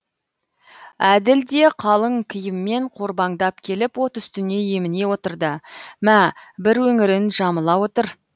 әділ де қалың киіммен қорбаңдап келіп от үстіне еміне отырды мә бір өңірін жамыла отыр